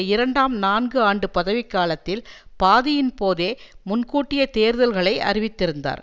இரண்டாம் நான்கு ஆண்டு பதவிக்காலத்தில் பாதியின்போதே முன்கூட்டிய தேர்தல்களை அறிவித்திருந்தார்